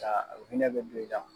u hinɛ bɛ don i la.